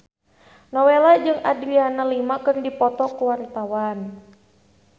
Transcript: Nowela jeung Adriana Lima keur dipoto ku wartawan